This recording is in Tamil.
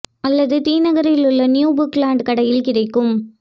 அல்லது தி நகரில் உள்ள நியூ புக் லேன்ட் கடையில் கிடைக்கும்